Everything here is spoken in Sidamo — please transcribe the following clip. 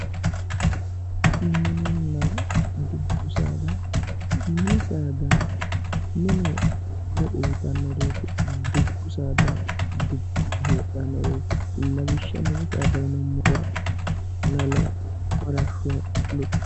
mininna dubbu saada mini saada mine horo uuyitannoreeti dubbu saada dubboho heedhannoreeti lawishshaho mini saada yinummoro lalo farashsho lukkicho